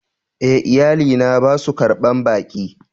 E,iyali na ba su ƙarban ɓaki.